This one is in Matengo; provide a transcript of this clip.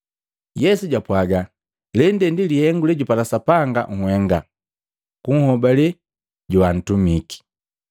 Yesu japwaga, “Lende ndi lihengu lejupala Sapanga nhenga, kunhobe joantumike.”